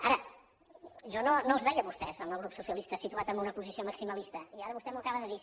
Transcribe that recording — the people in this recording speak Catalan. ara jo no els veia a vostès al grup socialista situat en una posició maximalista i ara vostè m’ho acaba de dir